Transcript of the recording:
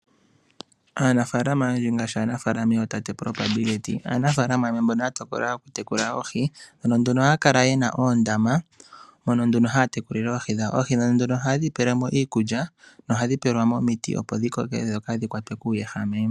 Aanafaalama oyendji, ngaashi aanafaalama tate, Probability, aanafaalama mbono ya tokola oku yekula oohi. Ano nduno oha ya lala yena oondama, ndhono ha ya yekulile oohi dhawo. Oohi ndho oha ye dhi pelemo iikulya, noha dhipelwa mo omiti opo dhaa ha kwatwe kuwehame.